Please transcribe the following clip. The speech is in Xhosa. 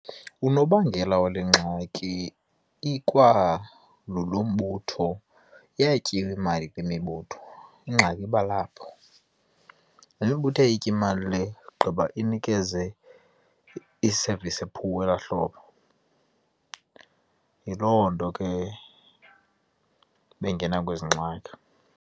Unobangela wale ngxaki ikwangulo mbutho, iyatyiwa imali kwimibutho. Ingxaki iba lapho, le mibutho iyayitya imali le gqiba inikeze i-service e-poor elaa hlobo. Yiloo nto ke bengena kwezi ngxaki.